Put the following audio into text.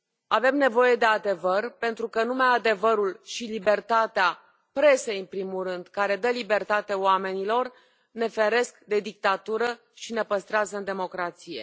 Avem nevoie de adevăr, pentru că numai adevărul și libertatea a presei, în primul rând, care dă libertate oamenilor ne feresc de dictatură și ne păstrează în democrație.